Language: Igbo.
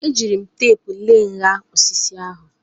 Eji m teepu lee nha osisi ahụ.